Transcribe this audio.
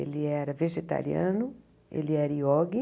Ele era vegetariano, ele era iogue.